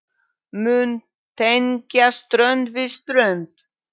mun tengja strönd við strönd.